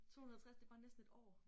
250 det bare næsten et år